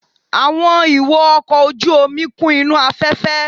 Àwọn ìwo ọkọ̀ ojú omi kún inú afẹ́fẹ́